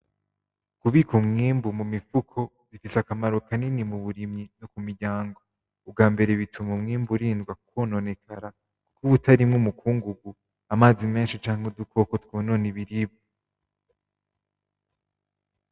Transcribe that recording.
Kubika umwimbu mu mifuko bifise akamaro kanini muburimyi no ku miryango, ubwambere bituma umwimbu urindwa ukwononekara nk'uwutarimwo umukungugu, amazi menshi canke udukoko twonona ibiribwa.